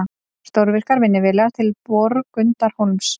Stórvirkar vinnuvélar til Borgundarhólms